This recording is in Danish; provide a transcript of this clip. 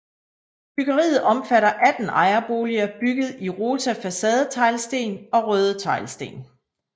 Byggeriet opfatter 18 ejerboliger bygget i rosa facadeteglsten og røde tagsten